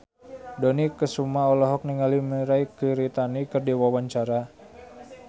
Dony Kesuma olohok ningali Mirei Kiritani keur diwawancara